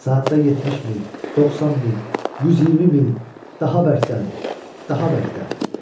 Saatda 70 mil, 90 mil, 120 mil, daha bərkdən, daha bərkdən.